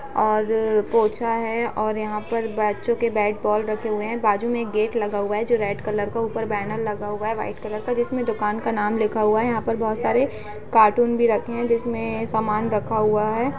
और पोछा है ओर यहाँ पर बच्चों के बैट बॉल रखे हुए हैं। बाजु मे एक गेट लगा हुआ है जो रेड कलर का। ऊपर बैनर लगा हुआ है वाईट कलर का जिसमे दुकान का नाम लिखा हुवा है। यहाँ पे बहुत सारे कार्टून भी रखे हैं जिसमे सामान रखा हुआ है।